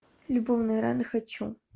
любовные раны хочу